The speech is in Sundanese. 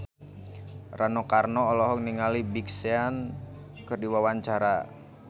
Rano Karno olohok ningali Big Sean keur diwawancara